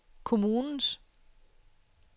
kommunens